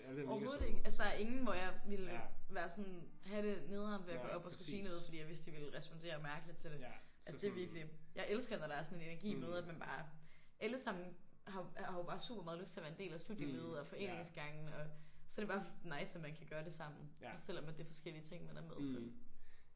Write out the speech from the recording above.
Overhovedet ikke. Altså der er ingen hvor jeg ville være sådan have det nederen ved at gå op og skulle sige noget fordi jeg vidste de ville respondere mærkeligt til det. Altså det er virkeligt jeg elsker når der er sådan en energi med at man bare alle sammen har jo bare super meget lyst til at være en del af studielivet og foreningsgangen og så er det bare nice at man kan gøre det sammen også selvom at det er forskellige ting man er med til